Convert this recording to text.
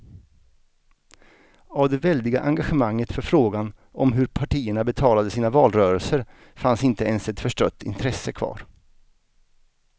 Av det väldiga engagemanget för frågan om hur partierna betalade sina valrörelser fanns inte ens ett förstrött intresse kvar.